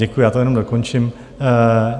Děkuji, já to jenom dokončím.